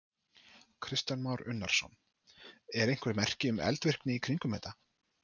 Kristján Már Unnarsson: Eru einhver merki um eldvirkni í kringum þetta?